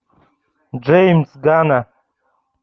джеймс ганн